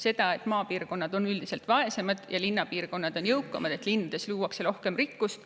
See, et maapiirkonnad on üldiselt vaesemad ja linnapiirkonnad jõukamad, linnades luuakse rohkem rikkust,